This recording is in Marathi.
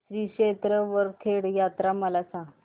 श्री क्षेत्र वरखेड यात्रा मला सांग